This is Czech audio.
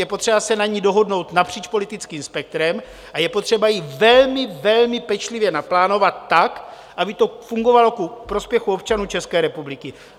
Je potřeba se na ní dohodnout napříč politickým spektrem a je potřeba ji velmi, velmi pečlivě naplánovat tak, aby to fungovalo ku prospěchu občanů České republiky.